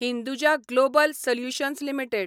Hinduja global solutions limited